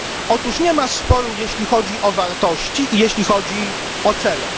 Otóż nie ma sporu, jeśli chodzi o wartości i jeśli chodzi o cele.